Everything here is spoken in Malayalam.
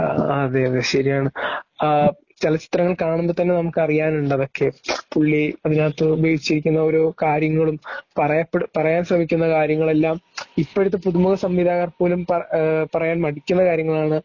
ങാ.. അതേയതേ ശരിയാണ്. ങാഹ് .. ചലച്ചിത്രങ്ങൾ കാണുമ്പോൾ തന്നെ നമുക്കറിയാനുണ്ടതൊക്കെ പുള്ളി അതിനകത്തു ഉപയോഗിച്ചിരിക്കുന്ന ഓരോ കാര്യങ്ങളും പറയാൻ ശ്രമിക്കുന്ന കാര്യങ്ങളുമെല്ലാം ഇപ്പോഴത്തെ പുതുമുഖ സംവിധായകർ പോലും പറയാൻ മടിക്കുന്ന കാര്യങ്ങളാണ്.